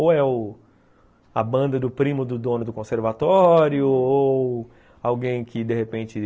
Ou é a banda do primo do dono do conservatório, ou alguém que de repente,